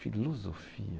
Filosofia...